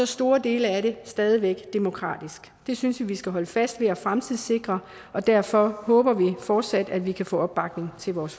store dele af det stadig væk demokratisk det synes vi skal holde fast i og fremtidssikre og derfor håber vi fortsat at vi kan få opbakning til vores